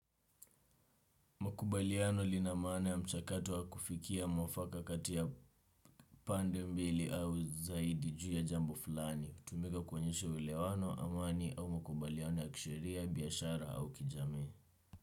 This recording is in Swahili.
Makubaliano linamana ya mchakato wa kufikia mwafaka katia pande mbili au zaidi juu ya jambo fulani. Tumiga kwenyeshe uelewano amani au mkubaliano ya kishiria, biyashara au kijami.